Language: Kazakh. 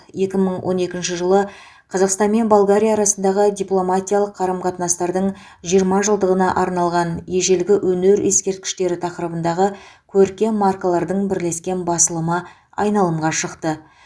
екі мың он екінші жылы қазақстан мен болгария арасындағы дипломатиялық қарым қатынастардың жиырма жылдығына арналған ежелгі өнер ескерткіштері тақырыбындағы көркем маркалардың бірлескен басылымы айналымға шықты